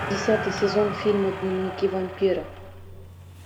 десятый сезон фильма дневники вампира